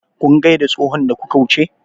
Kun gaida tsohon da kuka wuce?